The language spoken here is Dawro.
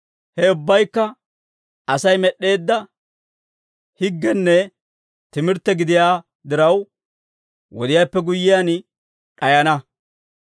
Ha ubbabaykka Asay med'd'eedda higgenne timirtte gidiyaa diraw, wodiyaappe guyyiyaan d'ayana.